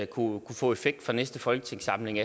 kunne få effekt fra næste folketingssamling